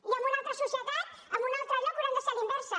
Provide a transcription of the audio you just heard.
i en una altra societat en un altre lloc haurà de ser a la inversa